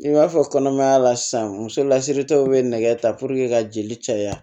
I b'a fɔ kɔnɔmaya la sisan musolasiritaw bɛ nɛgɛ ta ka jeli caya